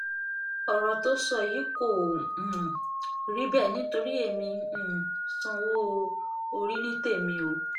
ọ̀rọ̀ tó ń sọ yìí kò um rí bẹ́ẹ̀ nítorí èmi um sanwó-orí ní tèmi o